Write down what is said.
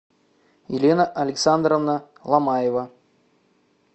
елена александровна ломаева